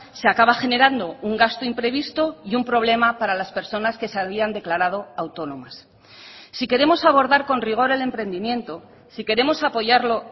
se acaba generando un gasto imprevisto y un problema para las personas que se habían declarado autónomas si queremos abordar con rigor el emprendimiento si queremos apoyarlo